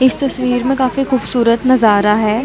इस तस्वीर में काफी खूबसूरत नजारा हैं